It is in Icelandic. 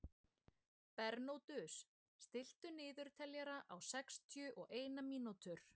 Bernódus, stilltu niðurteljara á sextíu og eina mínútur.